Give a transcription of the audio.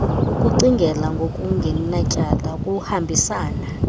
ukucingela ngokungenatyala kuhambisana